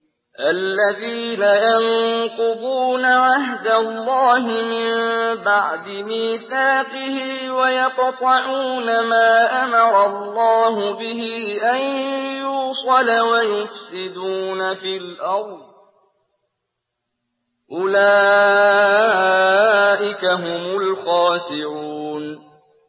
الَّذِينَ يَنقُضُونَ عَهْدَ اللَّهِ مِن بَعْدِ مِيثَاقِهِ وَيَقْطَعُونَ مَا أَمَرَ اللَّهُ بِهِ أَن يُوصَلَ وَيُفْسِدُونَ فِي الْأَرْضِ ۚ أُولَٰئِكَ هُمُ الْخَاسِرُونَ